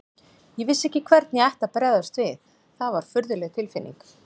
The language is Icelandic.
Ég vissi ekki hvernig ég ætti að bregðast við, það var furðuleg tilfinning.